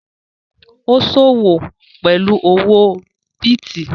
Ó sọ́wọ́ pẹ̀lú owó bìtì